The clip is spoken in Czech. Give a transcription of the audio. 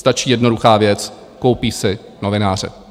Stačí jednoduchá věc: koupí si novináře.